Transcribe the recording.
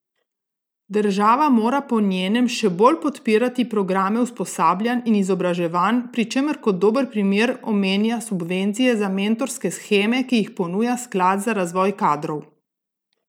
Država mora po njenem še bolj podpirati programe usposabljanj in izobraževanj, pri čemer kot dober primer omenja subvencije za mentorske sheme, ki jih ponuja sklad za razvoj kadrov.